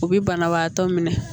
U bɛ banabagatɔ minɛ